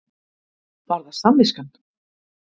Var það samviskan?